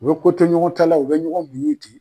U bɛ koto ɲɔgɔn ta la u bɛ ɲɔgɔn muɲun ye ten.